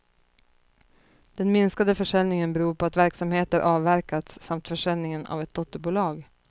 Den minskade försäljningen beror på att verksamheter avverkats samt försäljningen av ett dotterbolag.